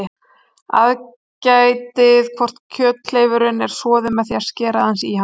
Aðgætið hvort kjöthleifurinn er soðinn með því að skera aðeins í hann.